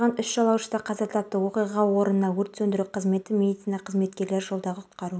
ресми ашылуы осы жылдың желтоқсанында болады алматы әкімі шағын маркеттің ресми ашылуына да келуге уәде